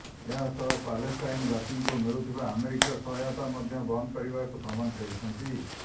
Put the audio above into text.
ଏହା ସହ ପାଲେଷ୍ଟାଇନବାସୀଙ୍କୁ ମିଳୁଥିବା ଆମେରିକୀୟ ସହାୟତା ମଧ୍ୟ ବନ୍ଦ କରିବାକୁ ଧମକ ଦେଇଛନ୍ତି